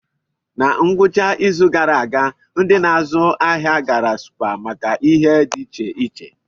Na ngwụcha izu gara aga, ndị na-azụ ahịa gara Supa maka ihe dị iche iche.